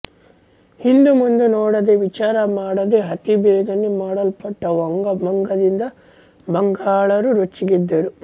ಹಿಂದುಮುಂದು ನೋಡದೆ ವಿಚಾರಮಾಡದೆ ಅತಿ ಬೇಗನೆ ಮಾಡಲ್ಪಟ್ಟ ವಂಗ ಭಂಗದಿಂದ ಬಂಗಾಳರು ರೊಚ್ಚಿಗೆದ್ದರು